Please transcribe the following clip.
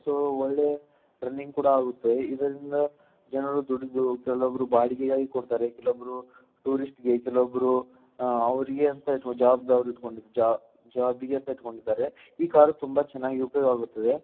So ಒಳ್ಳೆಯ running ಕೂಡ ಆಗುತ್ತೆ ಇದರಿಂದ ಜನರು ದುಡಿದು ಬಾಡಿಗೆಗಾಗಿ ಕೊಡ್ತಾರೆ ಕೆಲವೊಬ್ಬರು ಟೂರಿಸ್ಟ್ ಗೆ ಕೆಲವೊಬ್ಬರು ಅವರಿಗೆ ಅಂತ ಇಟ್ ಜಾಬ್ಗ್ ಜ ಜಾಬ್ಗೆ ಅಂತ ಇಟ್ಕೊಂಡಿರ್ತಾರೆ ಈ ಕಾರು ತುಂಬಾ ಚೆನ್ನಾಗಿ ಉಪಯೋಗ ಆಗುತ್ತದೆ.